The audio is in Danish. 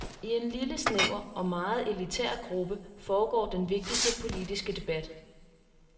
I en lille snæver og meget elitær gruppe foregår den vigtigste politiske debat.